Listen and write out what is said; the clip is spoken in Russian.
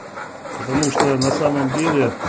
потому что на самом деле